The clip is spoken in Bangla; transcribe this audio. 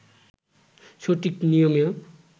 সঠিক নিয়মে